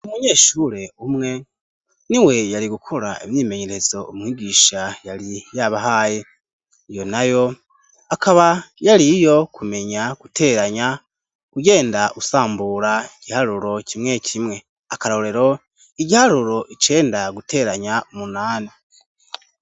Umunyeshure umwe niwe yari gukora imyimenyerezo umwigisha yari yabahaye. Iyo nayo akaba yariyo kumenya guteranya ugenda usambura ikiharuro kimwe kimwe . Akarorero igiharuro icenda guteranya umunani.